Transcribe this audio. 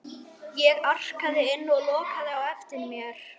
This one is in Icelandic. Ég arkaði inn og lokaði á eftir mér.